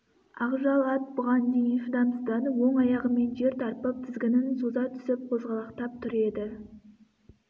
ақжал ат бұған шейін шыдамсызданып оң аяғымен жер тарпып тізгінін соза түсіп қозғалақтап тұр еді